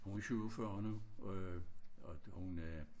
Hun er 47 år hun øh og hun er